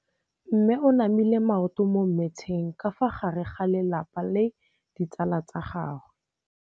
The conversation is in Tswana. Mme o namile maoto mo mmetseng ka fa gare ga lelapa le ditsala tsa gagwe.